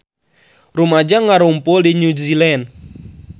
Rumaja ngarumpul di New Zealand